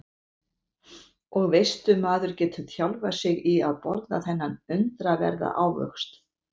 Og veistu maður getur þjálfað sig í að borða þennan undraverða ávöxt.